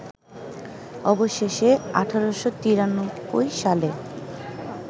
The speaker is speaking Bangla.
অবশেষে ১৮৯৩ সালে